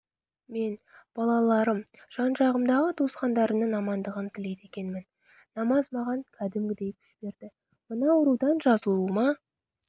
мен балаларым жан-жағымдағы туысқандарымның амандығын тілейді екенмін намаз маған кәдімгідей күш берді мына аурудан жазылуыма